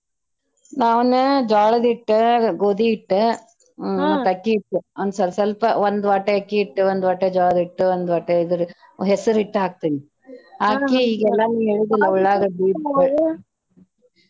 ನಾನ್ ಜ್ವಾಳದ ಹಿಟ್ಟ, ಗೋದಿ ಹಿಟ್ಟ ಹ್ಮ್ ಮತ್ತ ಅಕ್ಕಿ ಹಿಟ್ಟ ಒಂದ ಸ್ವಲ್ ಸ್ವಲ್ಪ ಒಂದ್ ವಾಟೆ ಅಕ್ಕಿ ಹಿಟ್ಟ, ಒಂದ್ ವಾಟೆ ಜ್ವಾಳದ ಹಿಟ್ಟ, ಒಂದ್ ವಾಟೆ ಇದರ ಹೆಸರ ಹಿಟ್ಟ ಹಾಕ್ತೇನೆ ಹಾಕಿ .